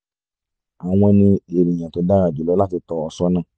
awọn ni ènìyàn tó dára jùlọ láti tọ́ ọ sọ́nà